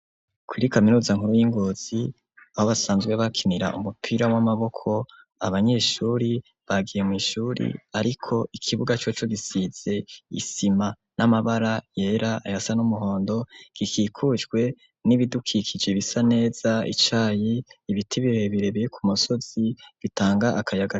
Kuri kaminuza nkuru y'Ingozi, Aho basanzwe bakinira Umupira w'Amaboko, Abanyeshure Bagiye mw'Ishure ariko ikibuga coco gisize Isima. N'Amabara yera ayasa n'Umuhondo, gikikujwe n'ibidukikije bisa neza, Ibiti birebire biri kumusozi bitanga Akayaga